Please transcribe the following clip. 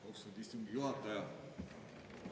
Austatud istungi juhataja!